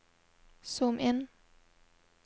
zoom inn